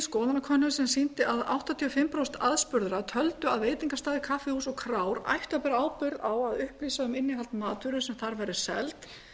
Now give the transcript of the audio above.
skoðanakönnun sem sýndi að áttatíu og fimm prósent aðspurðra töldu að veitingastaðir kaffihús og krár ættu að bera ábyrgð á að upplýsa um innihald matvöru sem þar væri seld